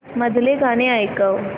मधलं गाणं ऐकव